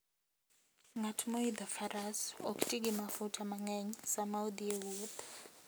Ng'at moidho faras ok ti gi mafuta mang'eny sama odhi e wuoth.